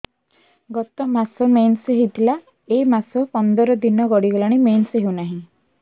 ଗତ ମାସ ମେନ୍ସ ହେଇଥିଲା ଏ ମାସ ପନ୍ଦର ଦିନ ଗଡିଗଲାଣି ମେନ୍ସ ହେଉନାହିଁ